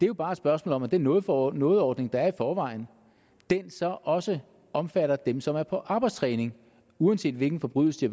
jo bare et spørgsmål om at den noget for noget ordning der er i forvejen så også omfatter dem som er på arbejdstræning uanset hvilken forbrydelse de